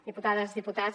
diputades diputats